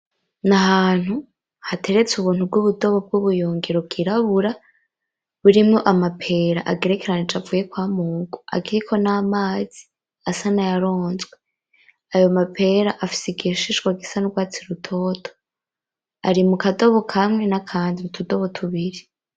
N'ahantu hateretse ubuntu bw'ubudobo bw'ubuyungiro bwirabura ,burimwo Amapera agerekeranije avuye kwamurwa akiriko n'amazi asa nayaronzwe, ayo mapera afise igishishwa gisa n'urwatsi rutoto, ari mukadobo kamwe n'akandi ,utudobo tubiri